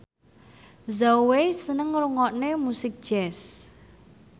Zhao Wei seneng ngrungokne musik jazz